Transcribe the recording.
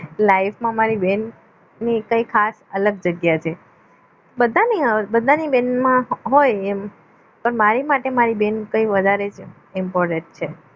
life માં મારી બહેન ની ખાસ કઈ અલગ જગ્યા છે બધાને એમ બધાને દિલમાં હોય એમ પણ મારે માટે મારી બેન એ વધારે important છે